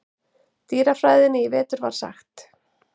dýrafræðinni í vetur var sagt.